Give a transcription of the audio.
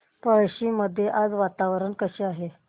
पळशी मध्ये आज वातावरण कसे आहे